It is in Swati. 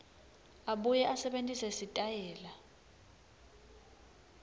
abuye asebentise sitayela